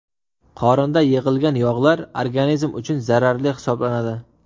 Qorinda yig‘ilgan yog‘lar organizm uchun zararli hisoblanadi.